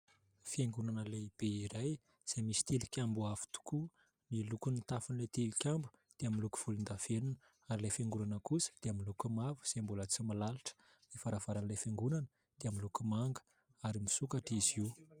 Fiangonana lehibe iray, izay misy tili-kambo avo tokoa ; ny lokon'ny tafon'ilay tili-kambo dia miloko volon-davenona ary ilay fiangonana kosa dia miloko mavo, izay mbola tsy milalitra, ny varavaran'ilay fiangonana dia miloko manga ary misokatra izy io.